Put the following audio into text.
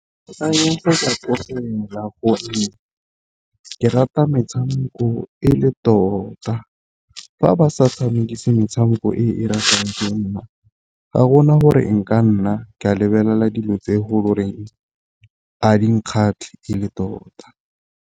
ke rata metshameko e le tota fa ba sa tshamekise metshameko e ratwang ke nna, ga gona gore nka nna ke a lebelela dilo tse e a di nkgatlhe e le tota.